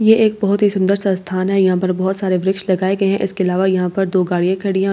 ये एक बहुत ही सुंदर सा स्‍थान है यहां पर बहुत सारे वृक्ष लगाये गये हैं इसके अलावा यहां पर दो गाडि़यां खड़ी है और ये --